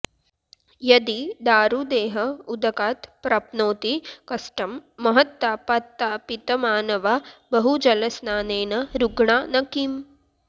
यदि दारुदेह उदकात् प्राप्नोति कष्टं महत् तापात्तापितमानवा बहुजलस्नानेन रुग्णा न किम्